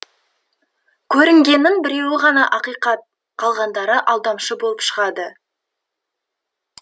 көрінгеннің біреуі ғана ақиқат қалғандары алдамшы болып шығады